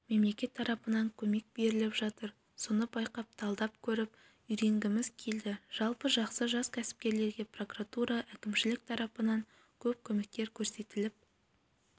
мемлекет тарапынан көмек беріліп жатыр соны байқап талдап көріп үйренгіміз келді жалпы жақсы жас кәсіпкерлерге прокуратура әкімшілік тарапынан көп көмектер көрсетіліп